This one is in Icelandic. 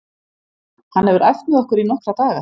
Hann hefur æft með okkur í nokkra daga.